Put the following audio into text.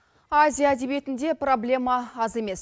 азия әдебиетінде проблема аз емес